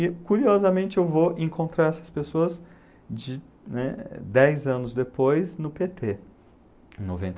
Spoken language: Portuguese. E curiosamente eu vou encontrar essas pessoas de, né, dez anos depois no pê tê, em noventa e três.